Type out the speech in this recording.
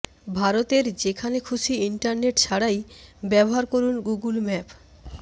ভারতের যেখানে খুশি ইন্টারনেট ছাড়াই ব্যবহার করুন গুগুল ম্যাপ